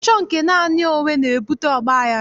Ịchọ nke naanị onwe na-ebute ọgbaghara